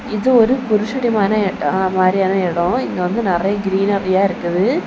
இது ஒரு புருஷடிமான இட மாதிரியான இடம் இங்கு வந்து நறைய கிரீனாப்பியா இருக்குது.